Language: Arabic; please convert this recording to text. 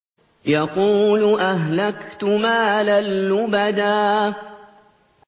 يَقُولُ أَهْلَكْتُ مَالًا لُّبَدًا